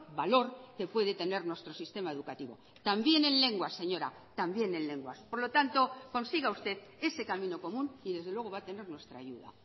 valor que puede tener nuestro sistema educativo también en lenguas señora también en lenguas por lo tanto consiga usted ese camino común y desde luego va a tener nuestra ayuda